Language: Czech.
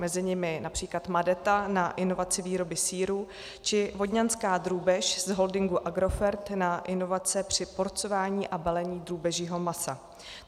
Mezi nimi například Madeta na inovaci výroby sýrů či Vodňanská drůbež z holdingu Agrofert na inovace při porcování a balení drůbežího masa.